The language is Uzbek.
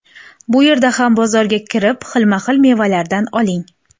Bu yerda ham bozorga kirib, xilma-xil mevalardan oling.